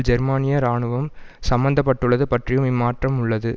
ஜெர்மனிய இராணுவம் சம்பந்தப்பட்டுள்ளது பற்றியும் இம்மாற்றம் உள்ளது